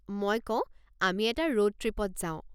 মই কওঁ, আমি এটা ৰোড ট্ৰিপত যাওঁ।